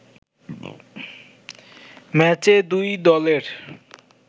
ম্যাচে দুই দলের